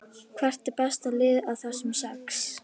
Hvert er besta liðið af þessum sex?